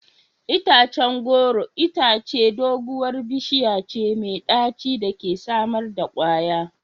Itacen goro itace doguwar bishiya ce mai daci da ke samar da kwaya.